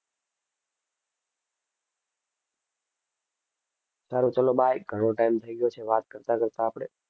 સારું ચલો bye ઘણો time થઈ ગયો છે વાત કરતાં કરતાં આપણે.